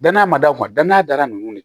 Danaya ma da danaya da nunnu de kan